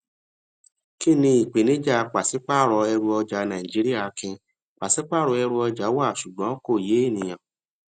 kínni ìpèníjà pàṣípààrọ ẹrù ọjà nàìjíría akin pàṣípààrọ ẹrù ọjà wá ṣùgbọn kò yé ènìyàn